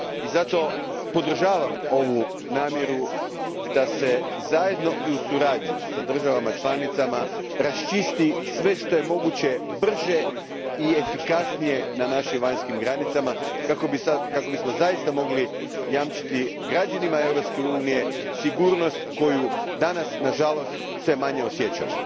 Zato podržavam ovu namjeru da se zajedno i u suradnji sa državama članicama raščisti sve što je moguće brže i efikasnije na našim vanjskim granicama kako bismo zaista mogli jamčiti građanima Europske unije sigurnost koju danas nažalost sve manje osjećamo.